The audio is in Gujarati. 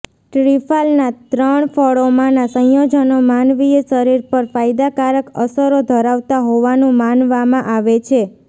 ટ્રિફાલના ત્રણ ફળોમાંના સંયોજનો માનવીય શરીર પર ફાયદાકારક અસરો ધરાવતા હોવાનું માનવામાં આવે છે